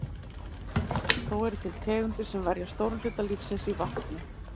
Þó eru til tegundir sem verja stórum hluta lífsins í vatni.